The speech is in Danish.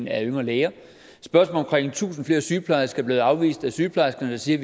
af yngre læger spørgsmålet om tusind flere sygeplejersker er blevet afvist af sygeplejerskerne der siger